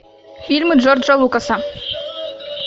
фильмы джорджа лукаса